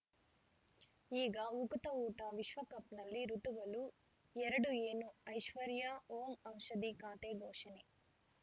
ಈಗ ಉಕುತ ಊಟ ವಿಶ್ವಕಪ್‌ನಲ್ಲಿ ಋತುಗಳು ಎರಡು ಏನು ಐಶ್ವರ್ಯಾ ಓಂ ಔಷಧಿ ಖಾತೆ ಘೋಷಣೆ